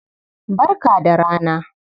Barka da rana.